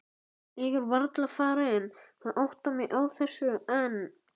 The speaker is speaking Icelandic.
Ég er varla farin að átta mig á þessu enn.